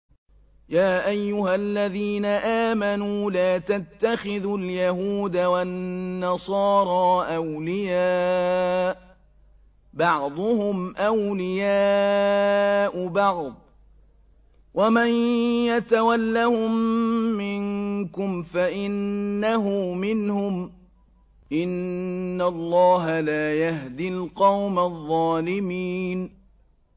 ۞ يَا أَيُّهَا الَّذِينَ آمَنُوا لَا تَتَّخِذُوا الْيَهُودَ وَالنَّصَارَىٰ أَوْلِيَاءَ ۘ بَعْضُهُمْ أَوْلِيَاءُ بَعْضٍ ۚ وَمَن يَتَوَلَّهُم مِّنكُمْ فَإِنَّهُ مِنْهُمْ ۗ إِنَّ اللَّهَ لَا يَهْدِي الْقَوْمَ الظَّالِمِينَ